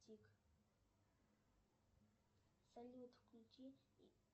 салют включи